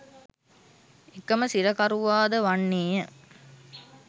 එකම සිරකරුවාද වන්නේය.